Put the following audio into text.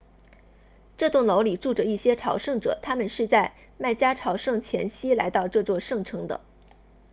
这栋楼里住着一些朝圣者他们是在麦加朝圣前夕来到这座圣城的